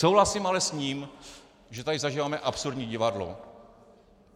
Souhlasím ale s ním, že tady zažíváme absurdní divadlo.